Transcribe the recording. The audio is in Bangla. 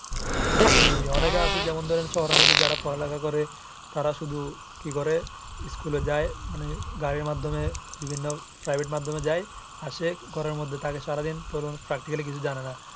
জি অনেকে যেমন ধরেন আছে শহরের মধ্যে যারা পড়ালিখা করে তারা শুধু কি করে school যায় গাড়ির মাধ্যমে বা বিভিন্ন প্রায়ভেটে মাধ্যমে যায় আসে ঘরের মধ্যে থাকে সারা দিন তো ওরা practically কিছু জানে না।